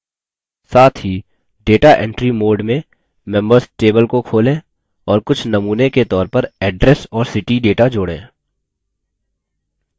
साथ ही data entry mode में members table को खोलें और कुछ नमूने के तौर पर address और city data mode